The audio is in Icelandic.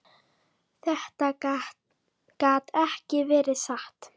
Þetta gat ekki verið satt.